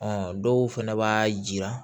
dɔw fɛnɛ b'a jira